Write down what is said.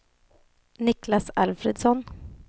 Niklas Alfredsson